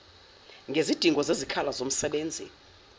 ngezidingo zezikhala zomsebenzi